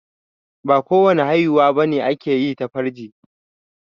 Ba ko wani haihuwa bane ake yi ta farji